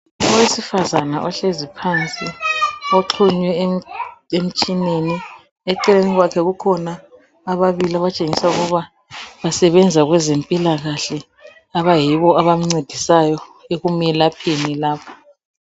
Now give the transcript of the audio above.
Owesifazana ohlezi phansi, oxhunywe emitshineni, eceleni kwakhe kukhona ababili abatshengisa ukuba basebenza kwezempilakahle, abayibo abamncedisayo ekumelapheni lapha.